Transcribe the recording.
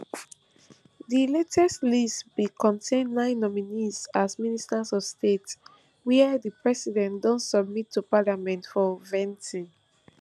di latest list bin contain nine nominees as ministers of state wia di president don submit to parliament for vetting